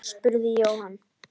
spurði Jóhann.